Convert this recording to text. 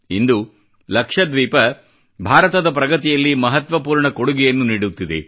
ಇಂದು ಲಕ್ಷದ್ವೀಪ ಭಾರತದ ಪ್ರಗತಿಯಲ್ಲಿ ಮಹತ್ವಪೂರ್ಣ ಕೊಡುಗೆಯನ್ನು ನೀಡುತ್ತಿದೆ